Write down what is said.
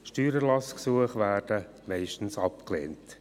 Steuererlassgesuche werden meistens abgelehnt.